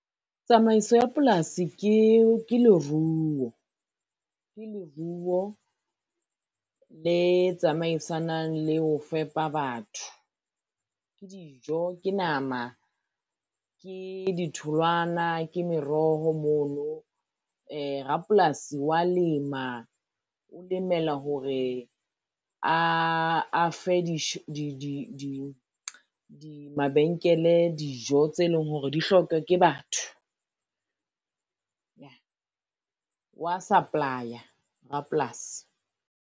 Tsamaiso ya polasi ke leruo, le tsamaisanang le ho fepa batho. Ke dijo, ke nama, ke ditholwana, ke meroho mono. Rapolasi wa lema o lemela hore a fe mabenkele, dijo tse leng hore di hloka ke batho. Yah wa supply-a rapolasi.